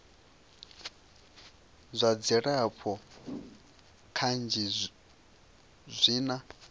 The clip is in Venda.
zwa dzilafho kanzhi zwi na